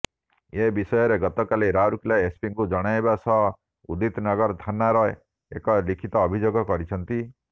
ଏ ବିଷୟରେ ଗତକାଲି ରାଉରକେଲା ଏସପିଙ୍କୁ ଜଣାଇବା ସହ ଉଦିତ ନଗର ଥାନାରେ ଏକ ଲିଖିତ ଅଭିଯୋଗ କରିଛନ୍ତି